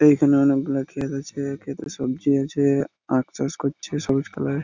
এইখানে অনেকগুলো খেত আছে খেতে সবজি আছে-এ আখ চাষ করছে সবুজ কালার -এর।